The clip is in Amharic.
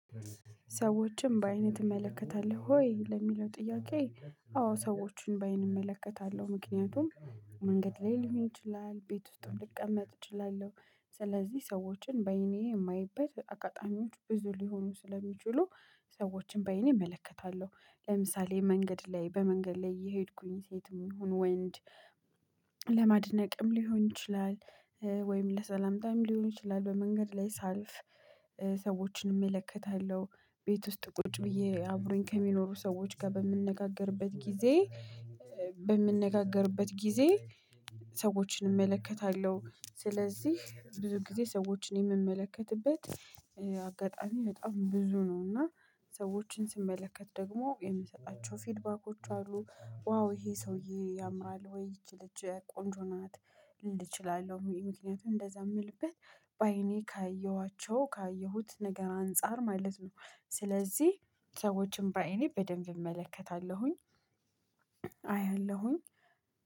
ሰዎችን በአይንህ ትመለከታለህ ሆይ ለሚለው ጥያቄ አዎ ሰዎችን በአይን እመለከታለሁ ምክንያቱም መንገድ ላይ ሊሆን ይችላል ቤት ውስጥም ልቀመጥ እችላለሁ ስለዚህ ሰዎችን በአይኔ የማይበት አገጣሚዎች ብዙ ሊሆኑ ስለሚችሉ ሰዎችን በአይኔ እመለከታለሁ ለምሳሌ መንገድ ላይ በመንገድ ላይ እየሄድኩኝ ሴትም ይሁን ወንድ። ለማድነቅም ሊሆን ይችላል። ወይም ለሰላምታም ሊሆን ይችላል በመንገድ ላይ ሳልፍ ሰዎችን እመለከታለሁ ቤት ውስጥ ቁጭ ብዬ አብሮኝ ከሚኖሩ ሰዎች ጋር በምነጋገርበት ጊዜ በምነጋገርበት ጊዜ ሰዎችን እመለከታለሁ። ስለዚህ ብዙ ጊዜ ሰዎችን የምመለከትበት አጋጣሚ በጣም ብዙ ነው። እና ሰዎችን ስመለከት ደግሞ የምሰጣቸው ፊድባኮች አሉ ዋው ይሄ ሰውዬ ያምራል ወይ ይቺ ልጅ ቆንጆ ናት። ል ችላለው ይሄ ምክንያት እንደዛ የምልበት በአይኔ ካየኋቸው ካየሁት ነገር አንፃር ማለት ነው። ስለዚህ ሰዎችን በአይኔ በደንብ እመለከታለሁኝ። አያለሁኝ